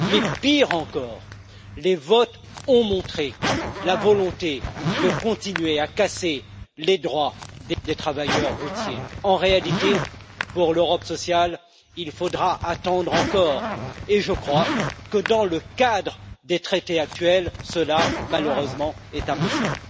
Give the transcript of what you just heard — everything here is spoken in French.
Mais pire encore, les votes ont montré la volonté de continuer à casser les droits des travailleurs routiers. En réalité, pour l'Europe sociale, il faudra attendre encore et je crois que dans le cadre des traités actuels, cela est malheureusement impossible.